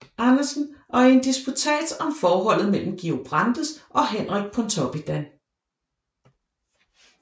Andersen og i en disputats om forholdet mellem Georg Brandes og Henrik Pontoppidan